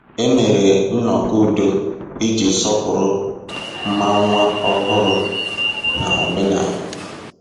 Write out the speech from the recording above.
E mere nnọkọ udo iji sọpụrụ ma nwa ọhụrụ na omenala.